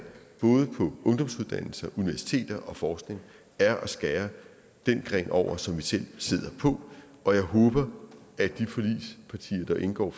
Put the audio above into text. både på ungdomsuddannelser universiteter og forskning er at skære den gren over som vi selv sidder på og jeg håber at de forligspartier der indgår